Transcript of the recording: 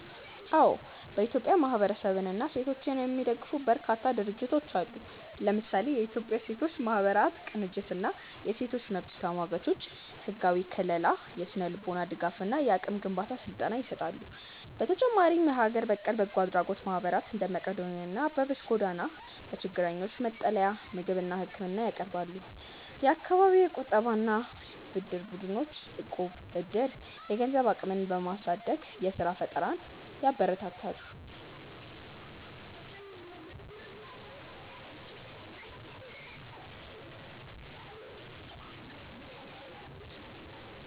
አዎ፥ በኢትዮጵያ ማህበረሰብንና ሴቶችን የሚደግፉ በርካታ ድርጅቶች አሉ። ለምሳሌ፦ የኢትዮጵያ ሴቶች ማህበራት ቅንጅት እና የሴቶች መብት ተሟጋቾች፦ ህጋዊ ከልላ፣ የስነ-ልቦና ድጋፍ እና የአቅም ግንባታ ስልጠና ይሰጣሉ። በተጨማሪም የሀገር በቀል በጎ አድራጎት ማህበራት (እንደ መቅዶንያ እና አበበች ጎበና) ለችግረኞች መጠለያ፣ ምግብና ህክምና ያቀርባሉ። የአካባቢ የቁጠባና ብድር ቡድኖች (እቁብ/ዕድር)፦ የገንዘብ አቅምን በማሳደግ የስራ ፈጠራን ያበረታታሉ።